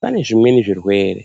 Pane zvimweni zvirwere